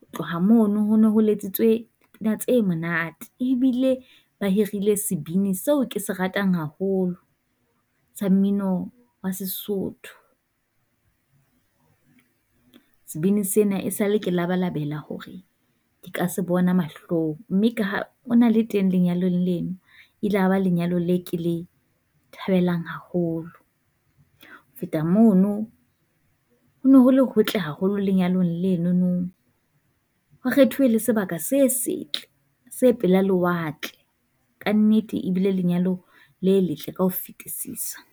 Ho tloha mono ho no ho letsitswe pina tse monate, ebile ba hirile sebini seo ke se ratang haholo sa mmino wa Sesotho. Sebini sena e sa le ke labalabela hore di ka se bona mahlong, mme ha o na le teng lenyalong lena e la ba lenyalong le ke le thabelang haholo. Ho feta mono ho no ho le hotle haholo lenyalong lenono, ho kgethuwe le sebaka se setle, se pela lewatle, kannete ebile lenyalo le letle ka ho fetisisa.